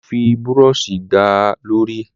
Olú fi búrọ́ṣì gbá a lórí.